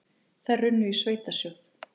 Þær runnu í sveitarsjóð.